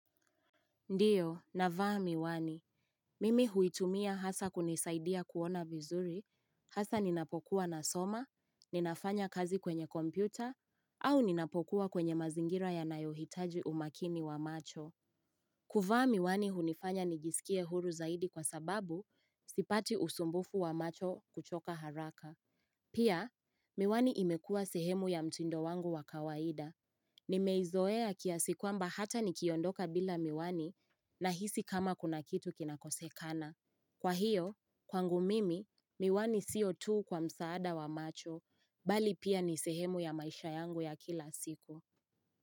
Ndiyo, navaa miwani. Mimi huitumia hasa kunisaidia kuona vizuri, hasa ninapokuwa na soma, ninafanya kazi kwenye kompyuta, au ninapokuwa kwenye mazingira ya nayohitaji umakini wa macho. Kuvaa miwani hunifanya nigisikie huru zaidi kwa sababu sipati usumbufu wa macho kuchoka haraka. Pia, miwani imekua sehemu ya mtindo wangu wakawaida. Nimeizoea kiasi kwamba hata nikiondoka bila miwani nahisi kama kuna kitu kinakosekana. Kwa hiyo, kwangu mimi, miwani siotu kwa msaada wa macho, bali pia ni sehemu ya maisha yangu ya kila siku.